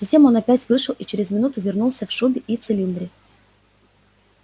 затем он опять вышел и через минуту вернулся в шубе и в цилиндре